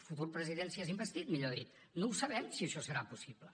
futur president si és investit millor dit no ho sabem si això serà possible